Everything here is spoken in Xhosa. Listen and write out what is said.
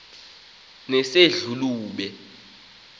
nesedlulube